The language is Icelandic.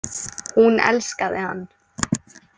Hún elskaði hann.